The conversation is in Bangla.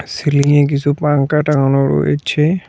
সিলিংয়ে কিছু পাঙ্খা টাঙানো রয়েছে।